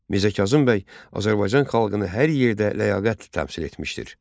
Mirzə Kazım bəy Azərbaycan xalqını hər yerdə ləyaqətlə təmsil etmişdir.